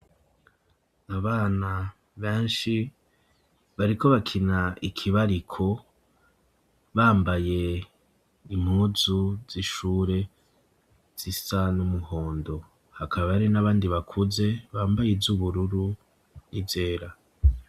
Abana benshi bariko bakina ikibariko bambaye impuzu z'ishure zisa n'umuhondo, hakaba hari n'abandi bakuze bambaye izubururu n'izera.